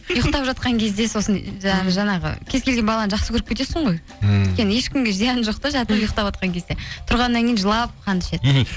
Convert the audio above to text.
ұйықтап жатқан кезде сосын жаңағы кез келген баланы жақсы көріп кетесің ғой ммм өйткені ешкімге зияны жоқ та жатып ұйықтаватқан кезде тұрғаннан кейін жылап қанды ішеді мхм